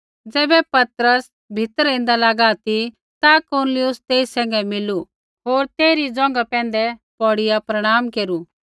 ज़ैबै पतरस भीतरै ऐन्दा लागा ती ता कुरनेलियुस तेई सैंघै मिलू होर तेइरी ज़ोंघा पैंधै पौड़िआ प्रणाम केरू